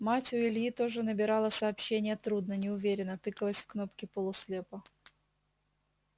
мать у ильи тоже набирала сообщения трудно неуверенно тыкалась в кнопки полуслепо